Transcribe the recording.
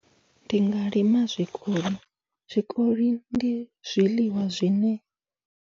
Ndi nga lima zwikoli, zwikoli ndi zwiḽiwa zwine.